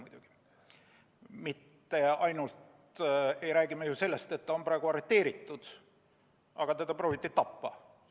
Me ei räägi ju mitte ainult sellest, et ta on praegu arreteeritud, vaid teda prooviti ka tappa.